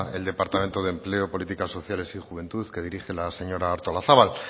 el departamento de empleo política sociales y juventud que dirige la señora artolazabal